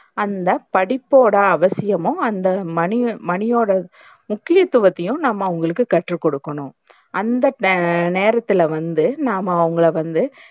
அந்த படிப்போட அவசியமும் அந்த மணி மணியோட முக்கியத்துவத்தையும் நாம்ம அவங்களுக்கு கத்துக்குடுக்கணும். அந்த ஆஹ் நேரத்துல வந்து நாம்ம அவங்கள வந்து